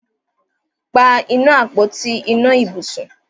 pá iná Àpótí iná ibùsùn